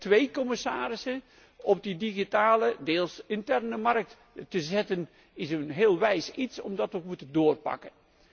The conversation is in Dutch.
Twee commissarissen op die digitale, deels interne markt zetten is een heel wijs idee, omdat wij moeten doorpakken.